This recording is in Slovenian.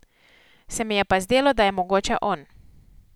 Se mi je pa zdelo, da je mogoče on.